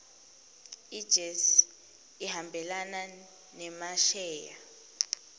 ijse ihambelana nemasheya